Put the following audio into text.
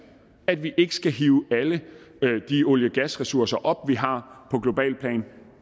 at vi ikke skal hive alle de olie og gasressourcer op vi har på globalt plan